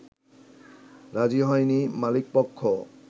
রাজি হয়নি মালিকপক্ষ